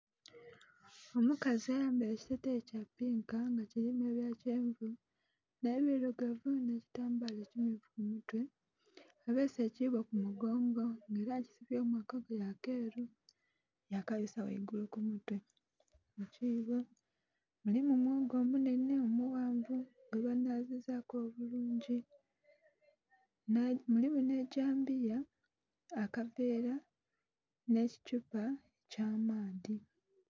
Omukazi ayambaire ekiteteyi kyapinka nga kirimu ebyakyenvu n'ebirugavu, n'ekitambala ekimmyufu kumutwe abeese ekiboo kumugongo nga era akisibyemu akagoye akeru yakabisa ghaigulu kumutwe. Ekiibo mulimu mwogo omunhenhe omughanvu gwebanhazizaku obulungi, mulimu n'egyambiya, akaveera n'ekithupa eky'amaadhi.